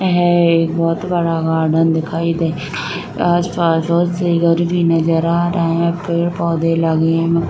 है एक बहोत बड़ा गार्डन दिखाई दे रहा है। आस-पास बहोत से घर भी नजर आ रहे हैं। पेड़-पौधे लगे हैं।